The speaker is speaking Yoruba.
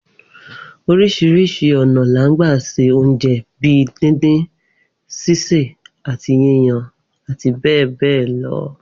Oríṣiríṣi ọ̀nà ni a ń gbà se oúnjẹ bi díndín, ṣíṣè àti yíyan àti bẹ́ẹ̀ bẹ́ẹ̀ lọ